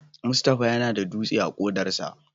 Mustapha yana da dutse a kodarsa.